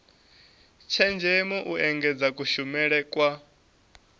tshenzhemo u engedza kushumele kwa